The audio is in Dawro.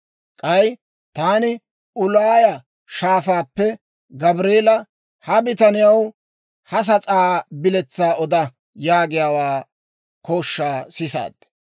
K'ay taani Uulaaya Shaafaappe, «Gabreelaa, ha bitaniyaw ha sas'aa biletsaa oda» yaagiyaa kooshshaa sisaad.